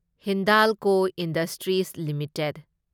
Hindalco industries limited